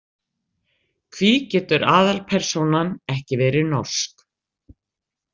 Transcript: Hví getur aðalpersónan ekki verið norsk?